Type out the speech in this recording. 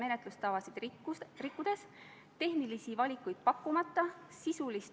Eelnõu kohta muudatusettepanekuid esitatud ei ole.